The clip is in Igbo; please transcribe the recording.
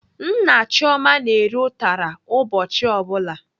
Nna Chioma na-eri ụtara ụbọchị ọ bụla.